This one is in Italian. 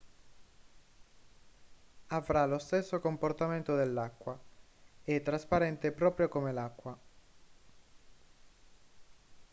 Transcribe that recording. avrà lo stesso comportamento dell'acqua è trasparente proprio come l'acqua